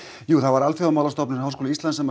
jú Alþjóðamálastofnun Háskóla Íslands